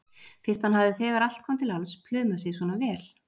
Fyrst hann hafði þegar allt kom til alls plumað sig svona vel.